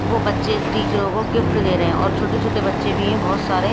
वो बच्चे टीचरों को गिफ्ट दे रहे हैंऔर छोटे-छोटे बच्चे भी हैं बहुत सारे।